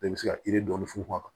i bɛ se ka yiri dɔɔnin funfun a kan